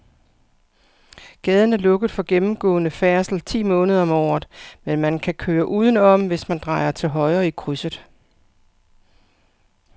Gaden er lukket for gennemgående færdsel ti måneder om året, men man kan køre udenom, hvis man drejer til højre i krydset.